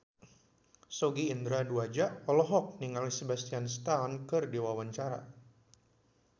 Sogi Indra Duaja olohok ningali Sebastian Stan keur diwawancara